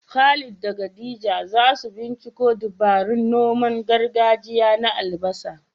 Khalid da Khadija za su binciko dabarun noman gargajiya na albasa.